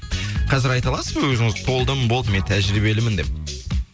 қазір айта аласыз ба өзіңіз толдым болдым мен тәжірибелімін деп